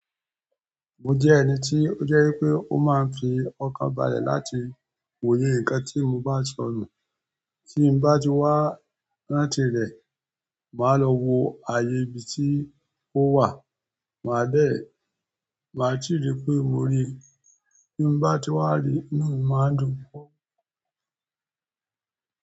Mo je ẹni ti o jẹ wípé, o máa n fi ọkàn balẹ̀ láti wòye nǹkan ti mo ba sọnu tí n bá ti wá láti rẹ, màá lọ wo ààyè ibi tí ó wà. Máa dé, màá ti rí pé mo rí i. Tí n bá ti wá rí, inú mi màá dùn.